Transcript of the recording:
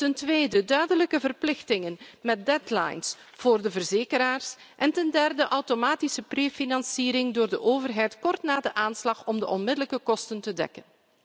Ten tweede duidelijke verplichtingen met deadlines voor de verzekeraars, en ten derde automatische prefinanciering door de overheid kort na de aanslag om de onmiddellijke kosten te dekken.